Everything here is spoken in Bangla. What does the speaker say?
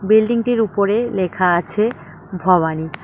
বিল্ডিংটির উপরে লেখা আছে ভবানী।